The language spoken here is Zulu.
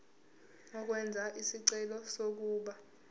ukwenza isicelo sokuba